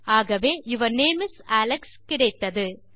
ஆகவே your name is Alex கிடைத்தது